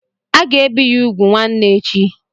Aga ebi ya úgwù nwanne echi.